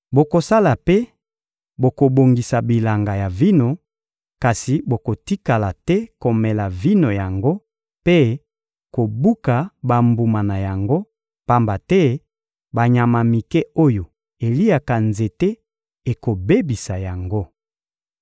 Bokosala mpe bokobongisa bilanga ya vino, kasi bokotikala te komela vino yango mpe kobuka bambuma na yango, pamba te banyama mike oyo eliaka nzete ekobebisa yango.